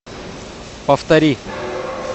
повтори